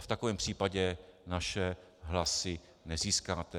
A v takovém případě naše hlasy nezískáte.